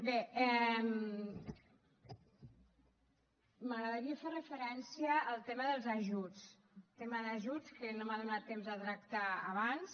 bé m’agradaria fer referencia al tema dels ajuts tema d’ajuts que no m’ha donat temps de tractar abans